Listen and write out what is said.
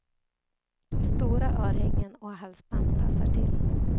Stora örhängen och halsband passar till.